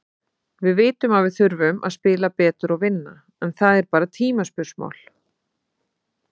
Við vitum að við þurfum að spila betur og vinna, en það er bara tímaspursmál.